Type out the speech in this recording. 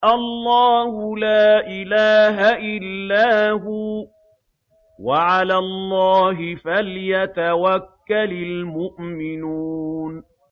اللَّهُ لَا إِلَٰهَ إِلَّا هُوَ ۚ وَعَلَى اللَّهِ فَلْيَتَوَكَّلِ الْمُؤْمِنُونَ